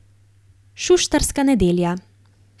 Šuštarska nedelja.